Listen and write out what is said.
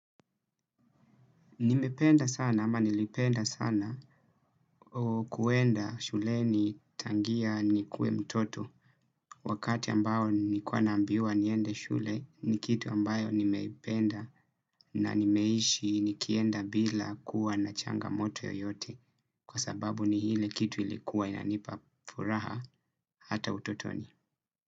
Nimependa sana ama nilipenda sana kuenda shuleni tangia nikuwe mtoto wakati ambao nilikuwa nambiwa niende shule ni kitu ambayo nimeipenda na nimeishi nikienda bila kuwa na changamoto yoyote kwa sababu ni ile kitu ilikuwa inanipa furaha hata utotoni.